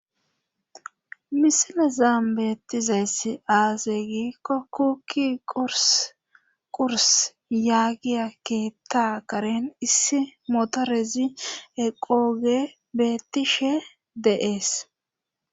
misilezaam beettizaess aaseygi kokuki qurs yaagiya keetta karen issi motorezi eqooge bettishe dee'es